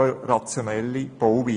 Es ist eine rationelle Bauweise.